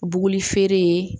Buguli feere